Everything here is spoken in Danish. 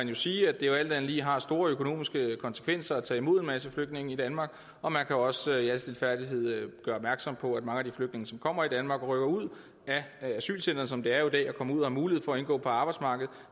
man sige at det jo alt andet lige har store økonomiske konsekvenser at tage imod en masse flygtninge i danmark og man kan også i al stilfærdighed gøre opmærksom på at mange af de flygtninge som kommer til danmark rykker ud af asylcentrene som det jo er i dag og kommer ud og har mulighed for at indgå på arbejdsmarkedet